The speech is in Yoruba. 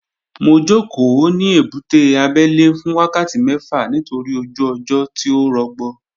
Mo jókòó ní ebúté abẹ́lé fún wákàtí mẹ́fà nítorí ojú ọjọ́ tí ò rọgbọ